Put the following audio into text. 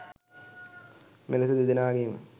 මෙලෙස දෙදෙනාගේම